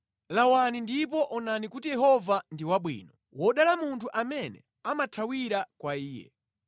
Lawani ndipo onani kuti Yehova ndi wabwino; wodala munthu amene amathawira kwa Iye.